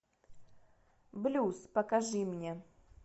блюз покажи мне